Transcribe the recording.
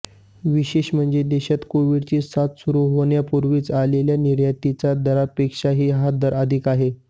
विशेष म्हणजे देशात कोविडची साथ सुरू होण्यापूर्वी असलेल्या निर्यातीच्या दरापेक्षा हा दर अधिक आहे